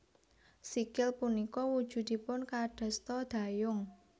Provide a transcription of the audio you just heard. Sikil punika wujudipun kadosta dayung